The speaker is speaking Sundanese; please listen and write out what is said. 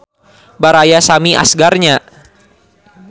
Baraya Sami Asgar nya.